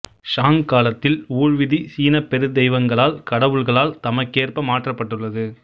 song காலத்தில் ஊழ் விதி சீனப் பெருதெய்வங்களால் கடவுள்களால் தமக்கேற்ப மாற்றப்பட்டுள்ளது